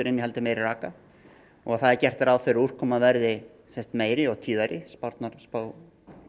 innihaldið meiri raka og það er gert ráð fyrir úrkoma verði meiri og tíðari spárnar spá